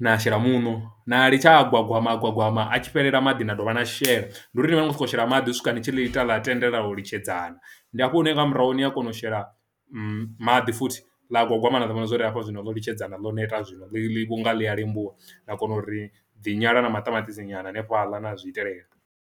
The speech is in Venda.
na shela muṋo na litsha a gwagwama gwagwama atshi fhelela maḓi na dovha na shela, ndi uri ni vha ni nga sokou shela maḓi u swika nitshi ḽi ita ḽa tendelana u litshedzana. Ndi hafho hune nga murahu ni a kona u shela maḓi futhi ḽa gwagwama na ḽi vhona zwa uri hafha zwino ḽo litshedzana ḽo neta zwino ḽi ḽi vho nga ḽi a lembuwa na kona uri dzi nyala na maṱamaṱisi nyana hanefhaḽa na zwi itelela.